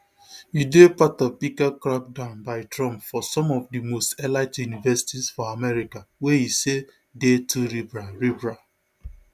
e dey part of bigger crackdown by trump for some of di most elite universities for america wey e say dey too liberal liberal